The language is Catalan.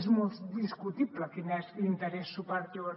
és molt discutible quin és l’interès superior